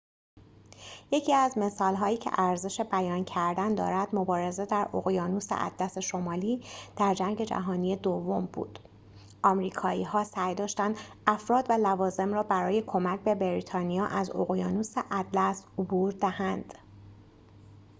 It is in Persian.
یکی از مثال‌هایی که ارزش بیان کردن دارد مبارزه در اقیانوس اطلس شمالی در جنگ جهانی دوم بود آمریکایی‌ها سعی داشتند افراد و لوازم را برای کمک به بریتانیا از اقیانوس اطلس عبور دهند